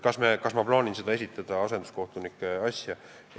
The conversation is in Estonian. Kas ma plaanin seda asenduskohtunike asja esitada?